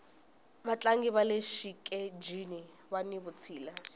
vatlangi vale xitejini vani vutshila